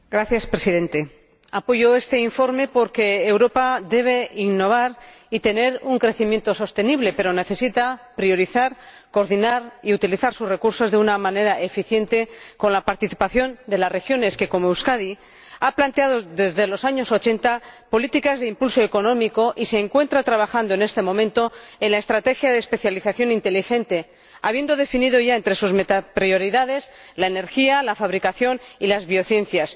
Señor Presidente, apoyo este informe porque Europa debe innovar y tener un crecimiento sostenible, pero necesita priorizar, coordinar y utilizar sus recursos de una manera eficiente con la participación de regiones como Euskadi, que ha planteado desde los años ochenta políticas de impulso económico y se encuentra trabajando en este momento en la estrategia de especialización inteligente, habiendo definido ya entre sus metaprioridades la energía, la fabricación y las biociencias.